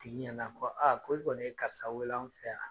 Tigi ɲɛna ko ko i kɔni ye karisa weele anw fɛ a.